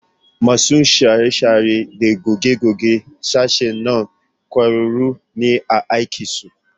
Masu share-share da goge-gogen sashen nan ƙwararru ne a aikinsu